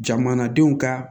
Jamanadenw ka